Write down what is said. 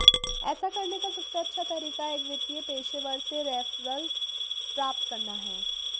ऐसा करने का सबसे अच्छा तरीका एक वित्तीय पेशेवर से रेफरल प्राप्त करना है